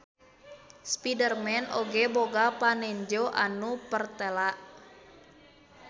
Spiderman oge boga panenjo anu pertela.